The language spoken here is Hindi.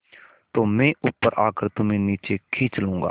तो मैं ऊपर आकर तुम्हें नीचे खींच लूँगा